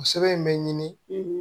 O sɛbɛn in bɛ ɲini